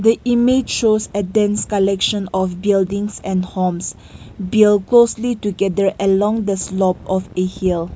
image shows a dense collection of buildings and homes build closely together along the slope of a hill.